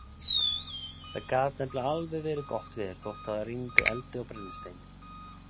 Það gat nefnilega alveg verið gott veður þótt það rigndi eldi og brennisteini.